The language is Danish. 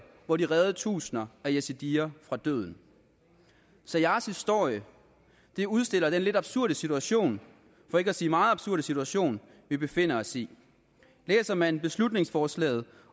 hvor de reddede tusinder af yazidier fra døden saiars historie udstiller den lidt absurde situation for ikke at sige meget absurde situation vi befinder os i læser man beslutningsforslaget